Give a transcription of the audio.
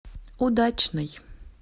удачный